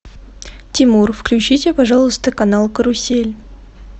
тимур включите пожалуйста канал карусель